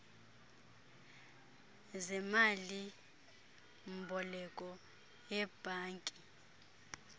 zemali mboleko yebhanki